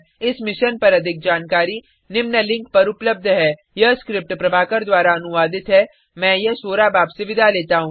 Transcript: इस मिशन पर अधिक जानकारी निम्न लिंक पर उपलब्ध है यह स्क्रिप्ट प्रभाकर द्वारा अनुवादित है मैं यश वोरा अब आपसे विदा लेता हूँ